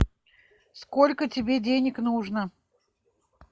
сколько тебе денег нужно